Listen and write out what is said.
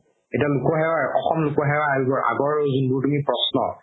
এতিয়া লোক সেৱা অসম লোক সেৱা আয়োগৰ আগৰ যোনবোৰ তুমি প্ৰশ্ন